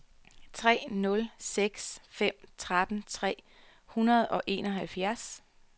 tre nul seks fem tretten tre hundrede og enoghalvtreds